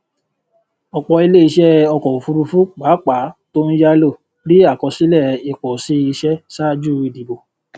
ọpọ ilé iṣẹ ọkọ òfurufú pàápàá tó ń yálò rí àkọsílẹ ìpòsí iṣẹ ṣáájú ìdìbò